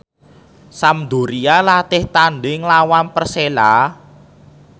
Sampdoria latih tandhing nglawan Persela